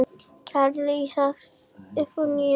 Gerði ég þér bylt við?